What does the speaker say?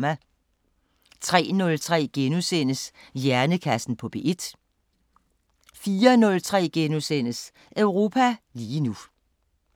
03:03: Hjernekassen på P1 * 04:03: Europa lige nu *